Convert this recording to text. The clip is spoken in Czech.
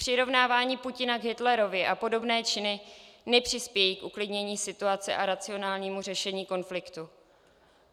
Přirovnávání Putina k Hitlerovi a podobné činy nepřispějí k uklidnění situace a racionálnímu řešení konfliktů.